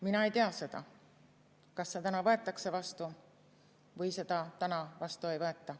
Mina ei tea seda, kas see täna võetakse vastu või seda täna vastu ei võeta.